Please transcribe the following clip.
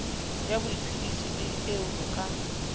ya boiphediso eo ho ka